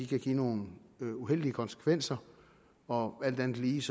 kan give nogle uheldige konsekvenser og alt andet lige